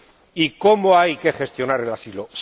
Europea. ¡Léanlo! ¿Y cómo hay que gestionar